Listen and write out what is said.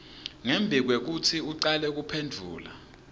ngembikwekutsi ucale kuphendvula